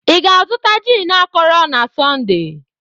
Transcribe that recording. Ị ga-azụta gin akọrọ na Sọnde?